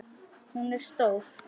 Hún er stór.